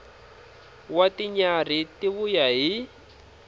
wa tinyarhi ti vuya hi